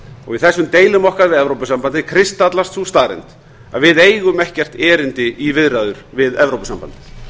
í þessum deilum okkar við evrópusambandið kristallast sú staðreynd að við eigum ekkert erindi í viðræður við evrópusambandið